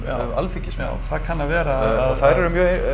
Alþingismenn já það kann að vera og þær eru